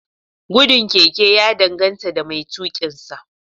Gudun keke ya danganta da mai tuƙinsa